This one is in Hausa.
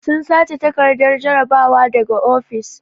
Sun sace takardar jarabawa daga ofis.